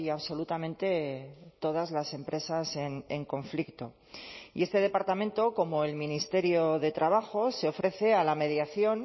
absolutamente todas las empresas en conflicto y este departamento como el ministerio de trabajo se ofrece a la mediación